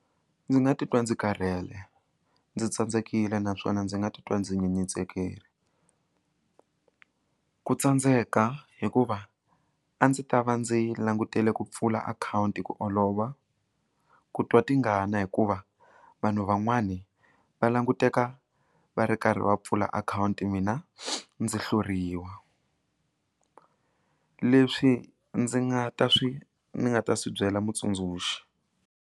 Ndzi nga titwa ndzi karhele ndzi tsandzekile naswona ndzi nga titwa ndzi nyenyetsekile ku tsandzeka hikuva a ndzi ta va ndzi langutele ku pfula akhawunti ku olova ku twa tingana hikuva vanhu van'wani va languteka va ri karhi va pfula akhawunti mina ndzi hluriwa leswi ndzi nga ta swi ni nga ta swi byela mutsundzuxi.